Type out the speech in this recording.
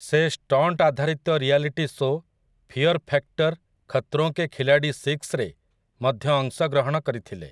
ସେ ଷ୍ଟଣ୍ଟ୍ ଆଧାରିତ reality show 'fear factor Khatron Ke Khiladi ସିକ୍ସ'ରେ ମଧ୍ୟ ଅଂଶଗ୍ରହଣ କରିଥିଲେ ।